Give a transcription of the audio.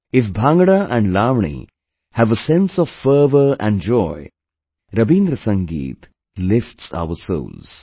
If Bhangra and Lavani have a sense of fervor and joy, Rabindra Sangeet lifts our souls